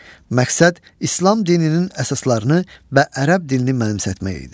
Məqsəd İslam dininin əsaslarını və ərəb dilini mənimsətmək idi.